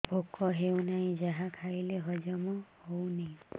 ଭୋକ ହେଉନାହିଁ ଯାହା ଖାଇଲେ ହଜମ ହଉନି